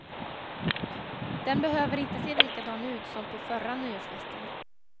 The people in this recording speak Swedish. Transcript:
Den behöver inte se likadan ut som på förra nyårsfesten.